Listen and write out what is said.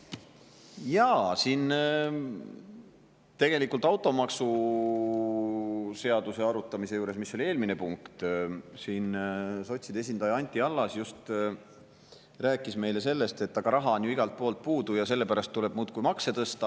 Jaa, siin tegelikult automaksu seaduse arutamisel, mis oli eelmine punkt, sotside esindaja Anti Allas rääkis meile sellest, et raha on ju igalt poolt puudu ja sellepärast tuleb muudkui makse tõsta.